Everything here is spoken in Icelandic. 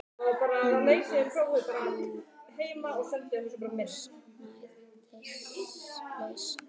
Nema að nú var ég húsnæðislaus.